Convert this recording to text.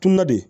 Kunna de